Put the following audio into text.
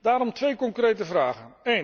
Daarom twee concrete vragen.